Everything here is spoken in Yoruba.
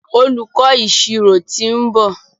Olùkó ìṣirò t'in nbọ.